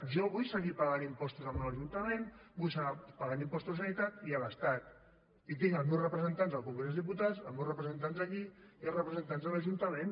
jo vull seguir pagant impostos al meu ajuntament vull seguir pagant impostos a la generalitat i a l’estat i tinc els meus representants al congrés dels diputats els meus representants aquí i els representants a l’ajuntament